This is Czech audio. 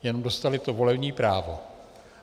Jen dostaly to volební právo.